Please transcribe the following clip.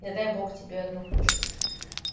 не дай бог тебе одну книжку слить